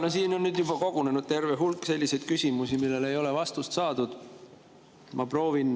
No siin on kogunenud juba terve hulk selliseid küsimusi, millele ei ole vastust saadud.